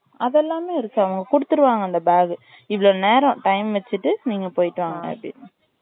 அது எல்லாமே இருக்கு அவங்க குடுத்திருவாங்க அந்த bag இவ்ளோ நேரம் time வச்சிட்டு நீங்க போயிட்டு வாங்க அப்டின்னு